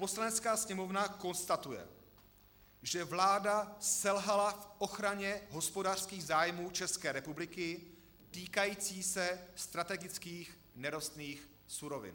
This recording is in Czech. Poslanecká sněmovna konstatuje, že vláda selhala v ochraně hospodářských zájmů České republiky týkající se strategických nerostných surovin.